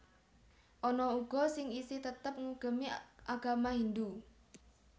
Ana uga sing isih tetep ngugemi agama Hindhu